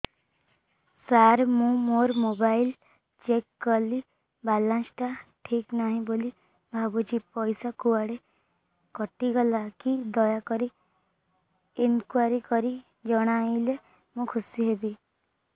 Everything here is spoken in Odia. ସାର ମୁଁ ମୋର ମୋବାଇଲ ଚେକ କଲି ବାଲାନ୍ସ ଟା ଠିକ ନାହିଁ ବୋଲି ଭାବୁଛି ପଇସା କୁଆଡେ କଟି ଗଲା କି ଦୟାକରି ଇନକ୍ୱାରି କରି ଜଣାଇଲେ ମୁଁ ଖୁସି ହେବି